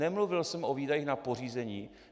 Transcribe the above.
Nemluvil jsem o výdajích na pořízení.